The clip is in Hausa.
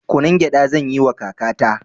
Kunun gyaɗa zanyiwa kakata